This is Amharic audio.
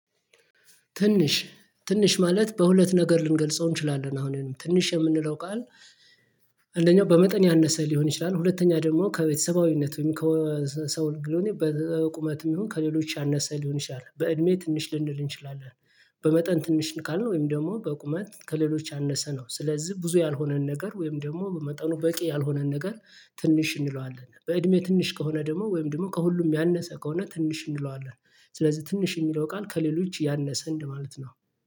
ትንሽ ትንሽ ማለት በሁለት ነገር ልንገልጸው እንችላለን አሁን ትንሽ የምንለው ቃል አንደኛው በመጠን ያነሰ ሊሆን ይችላል ሁለተኛ ደግሞ ከቤተሰባዊነት ወይም ከሰው ልግሎኝ በቁመትም ይሁን ከሌሎች ያነሰ ሊሆን ይችላል በእድሜ ትንሽ ልንል እንችላለን። በመጠን ትንሽ ካልን ወይም ደግሞ በቁመት ከሌሎች አነሰ ነው ስለዚህ ብዙ ያልሆነን ነገር ወይም ደግሞ በመጠኑ በቂ ያልሆነን ነገር ትንሽ እንለዋለን በእድሜ ትንሽ ከሆነ ደግሞ ወይም ደግሞ ከሁሉም ያነሰ ከሆነ ትንሽ እንለዋለን። ስለዚህ ትንሽ የሚለው ቃል ከሌሎች ያነሰ እንደማለት ነው